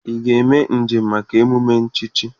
Ị ga-eme njem maka emume nchichi?